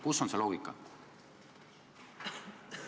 Kus on see loogika?